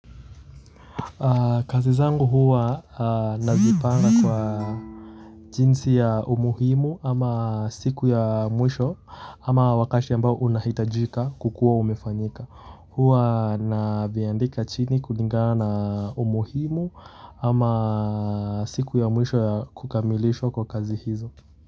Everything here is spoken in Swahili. Kazi zangu huwa nazipanga kwa jinsi ya umuhimu ama siku ya mwisho ama wakati ambao unahitajika kukuwa umefanyika huwa naviandika chini kulingana umuhimu ama siku ya mwisho ya kukamilishwa kwa kazi hizo.